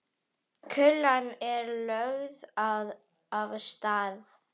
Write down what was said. Kúlan er lögð af stað.